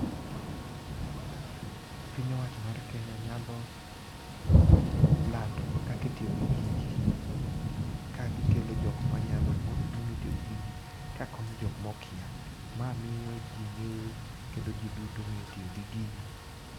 Piny owacho mar Kenya nyalo lando kakitiyo gi gigi, ka gikelo jok manyalo mong'etiyo gi gigi ka konyo jok mokia. Ma miyo ji ng'eyo kendo ji duto ng'e tiyo gi gigi.